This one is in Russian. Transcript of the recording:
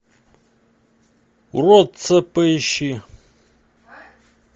уродца поищи